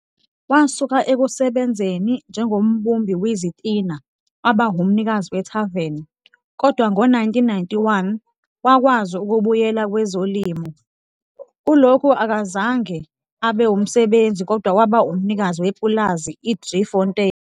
Wasuka ekusebenzeni njengombumbi wezitina waba umnikazi wethaveni kodwa ngo-1991, wakwazi ukubuyela kwezolimo. Kulokhu akazange abe umsebenzi kodwa waba umnikazi wepulazi i-Driefontein.